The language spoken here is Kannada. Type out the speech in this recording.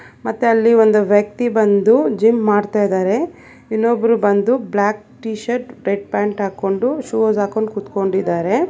ಮತ್ತೆ ಅಲ್ಲಿ ಒಂದು ವ್ಯಕ್ತಿ ಬಂದು ಜಿಮ್ ಮಾಡ್ತ ಇದಾರೆ ಇನ್ನೊಬ್ಬರು ಬಂದು black T shirt red pants ಹಾಕೊಂಡು ಶೂಸ್ ಹಾಕೊಂಡ ಕೂತ್ಕೊಂಡಿದಾರೆ.